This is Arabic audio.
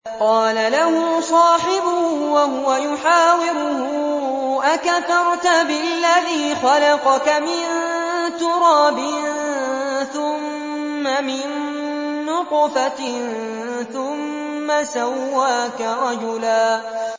قَالَ لَهُ صَاحِبُهُ وَهُوَ يُحَاوِرُهُ أَكَفَرْتَ بِالَّذِي خَلَقَكَ مِن تُرَابٍ ثُمَّ مِن نُّطْفَةٍ ثُمَّ سَوَّاكَ رَجُلًا